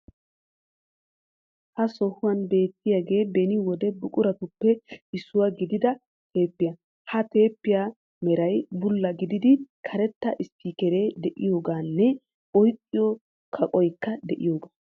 Ha sohuwan beettiyagee beni wide buquratuppe issuwa gidida teeppiya. Ha teeppiya meray bulla gididi karetta isppikkeree de'iyoogaanne oyqqiyo kaqqoykka de'iyoogaa.